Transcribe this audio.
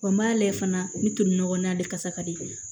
Wa n b'a lajɛ fana u bɛ to nɔgɔ na ale kasa ka di